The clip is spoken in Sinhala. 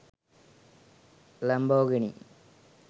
lamborgihini